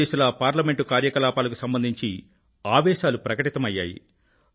నలుదిశలా parliament కార్యకలాపాలకు సంబంధించి ఆవేశాలు ప్రకటితమయ్యాయి